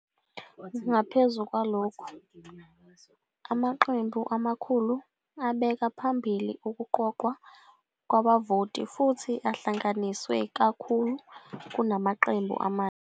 Ngaphezu kwalokho, amaqembu amakhulu abeka phambili ukuqoqwa kwabavoti futhi ahlanganiswe kakhulu kunamaqembu amahle.